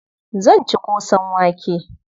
Zan ci ƙosan wake.